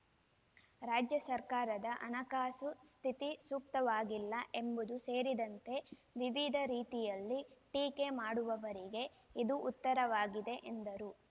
ರಾಜ್ಯ ಸರ್ಕಾರದ ಹಣಕಾಸು ಸ್ಥಿತಿ ಸೂಕ್ತವಾಗಿಲ್ಲ ಎಂಬುದು ಸೇರಿದಂತೆ ವಿವಿಧ ರೀತಿಯಲ್ಲಿ ಟೀಕೆ ಮಾಡುವವರಿಗೆ ಇದು ಉತ್ತರವಾಗಿದೆ ಎಂದರು